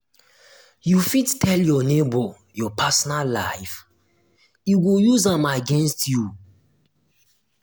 you fit tell your nebor your personal life e go use am against you.